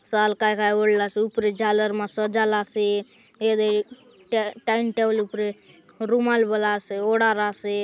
शाल काय काय ओढला स ऊपरे झालर म सजल आसे एदे अ